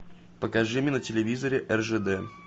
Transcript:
покажи мне на телевизоре ржд